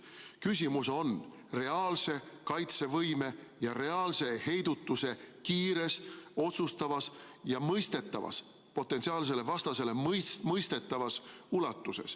Küsimus on reaalse kaitsevõimes ja reaalse heidutuse kiires, otsustavas ja potentsiaalsele vastasele mõistetavas ulatuses.